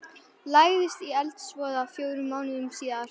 lagðist í eldsvoða fjórum mánuðum síðar.